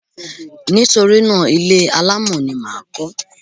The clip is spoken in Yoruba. Nítorí náà, ilé alámọ̀ ni mà á kọ́.